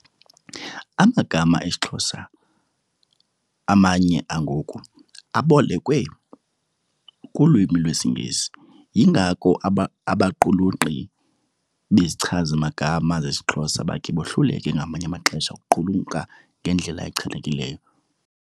Amagama esiXhosa, amanye angoku abolekwe kulwimi lwesiNgesi. Yingako abaqulunqi bezichazimagama zesiXhosa bakhe bohlulekile ngamanye amaxesha ukuqulunqa ngendlela echanekileyo.